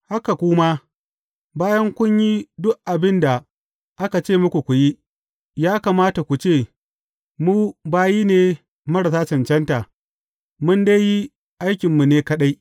Haka ku ma, bayan kun yi duk abin da aka ce muku ku yi, ya kamata ku ce, Mu bayi ne marasa cancanta, mun dai yi aikinmu ne kaɗai.’